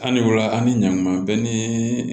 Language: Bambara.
Ali ola an ni ɲan kuma bɛɛ ni